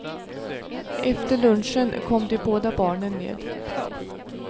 Efter lunchen kom de båda barnen ned.